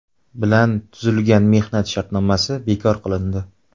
bilan tuzilgan mehnat shartnomasi bekor qilindi.